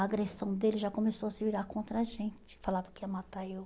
A agressão dele já começou a se virar contra a gente, falava que ia matar eu.